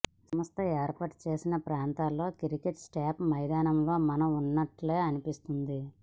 సంస్థ ఏర్పాటు చేసిన ప్రాంతాల్లో క్రికెట్ సెటప్ మైదానంలో మనం ఉన్నట్లే అనిపిస్తుంది